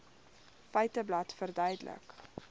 feiteblad verduidelik